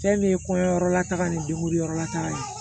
Fɛn bɛ kɔɲɔyɔrɔ la taga ni degun yɔrɔ la taga ye